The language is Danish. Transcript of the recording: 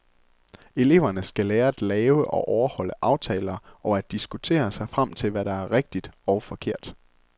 Eleverne skal lære at lave og overholde aftaler og at diskutere sig frem til, hvad der er rigtigt og forkert.